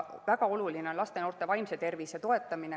Väga oluline on laste ja noorte vaimse tervise toetamine.